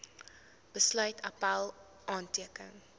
besluit appèl aanteken